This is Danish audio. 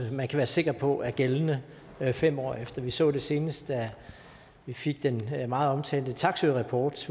man kan være sikker på er gældende fem år efter vi så det senest da vi fik den meget omtalte taksøerapport